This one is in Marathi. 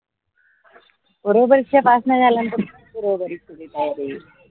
पूर्व परीक्षा पास नाही झाल